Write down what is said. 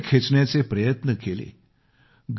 त्यांचे पाय खेचण्याचे प्रयत्न केले